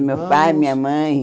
E meu pai, minha mãe.